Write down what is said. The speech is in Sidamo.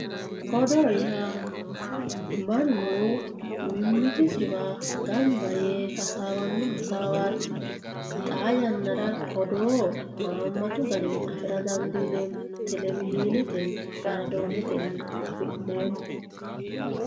odoo yaa mannu mimmitisiwa gamba yee hasaawanno hasaawaati xaa yannaara odoo haammatu garinni afira dandiineemmo televizhiinetenni raadoonetennino afi'neemmo